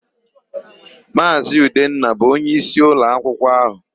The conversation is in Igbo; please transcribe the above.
Maazị Udenna bụ onyeisi ụlọakwụkwọ áhụ̀.